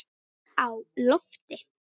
Á lofti